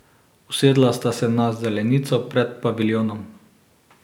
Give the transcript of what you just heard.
Usedla sta se na zelenico pred paviljonom.